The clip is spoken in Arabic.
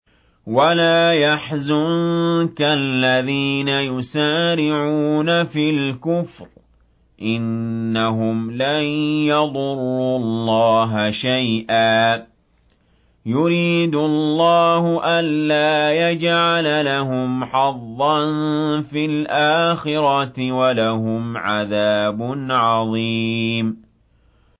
وَلَا يَحْزُنكَ الَّذِينَ يُسَارِعُونَ فِي الْكُفْرِ ۚ إِنَّهُمْ لَن يَضُرُّوا اللَّهَ شَيْئًا ۗ يُرِيدُ اللَّهُ أَلَّا يَجْعَلَ لَهُمْ حَظًّا فِي الْآخِرَةِ ۖ وَلَهُمْ عَذَابٌ عَظِيمٌ